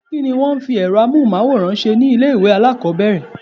Kí ni wón ń fi èrọ amóhùnmáwòrán ṣe ni ilé ìwé alákòbẹ̀rẹ̀?